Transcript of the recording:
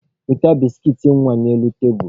Weta biskit nwa n'elu tebulu!